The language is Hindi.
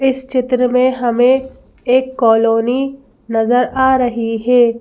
इस चित्र में हमें एक कॉलोनी नजर आ रही है।